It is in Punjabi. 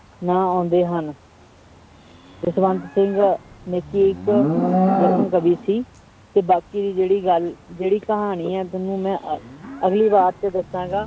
ਨਾਂ ਆਉਂਦੇ ਹਨ ਜਸਵੰਤ ਸਿੰਘ ਨੇਕੀ ਇੱਕ ਕਵੀ ਸੀ, ਤੇ ਬਾਕੀ ਜਿਹੜੀ ਗੱਲ ਜਿਹੜੀ ਕਹਾਣੀ ਹੈ ਤੁਹਾਨੂੰ ਮੈਂ ਅ~ ਅਗਲੀ ਵਾਰ 'ਚ ਦੱਸਾਂਗਾ।